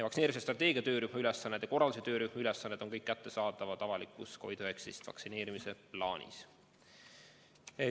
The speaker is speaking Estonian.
Vaktsineerimise strateegia töörühma ülesanded ja korralduse töörühma ülesanded on kõik kättesaadavad avalikus COVID-19 vaktsineerimise plaanis.